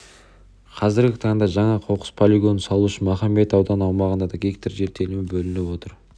қазіргі таңда жаңа қоқыс полигонын салу үшін махамбет ауданы аумағынан да гектар жер телімі бөлініп отыр